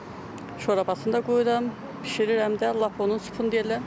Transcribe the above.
Şorbasını da qoyuram, bişirirəm də, lap onun supun deyirlər.